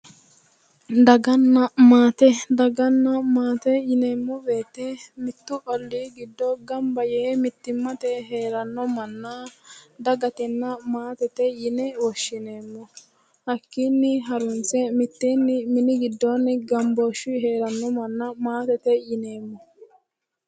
Daganna maate, daganna maate yinneemmo woyte mitu olli giddo gamba yee mittimmatenni heerano manna dagatenna maatete yinne woshshineemmo, hakkinni harunse mini giddoni mitteenni gambooshshe heerano manna maatete yinneemmo.